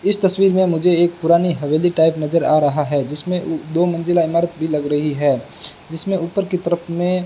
इस तस्वीर में मुझे एक पुरानी हवेली टाइप नजर आ रहा है जिसमें दो मंजिला इमारत भी लग रही है जिसमें ऊपर की तरफ में --